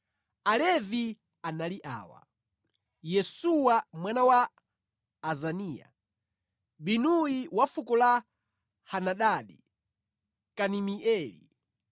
Alevi anali awa: Yesuwa mwana wa Azaniya, Binuyi wa fuko la Henadadi, Kadimieli,